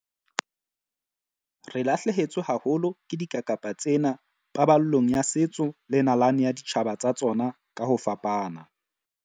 Re lahlehetswe haholo ke dikakapa tsena paballong ya setso le nalane ya ditjhaba tsa tsona ka ho fapana.